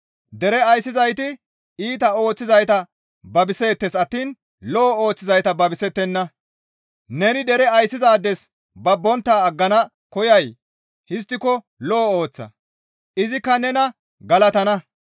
Dere ayssizayti iita ooththizayta babiseettes attiin lo7o ooththizayta babisettenna. Neni dere ayssizaades babbontta aggana koyay? Histtiko lo7o ooththa; izikka nena galatana.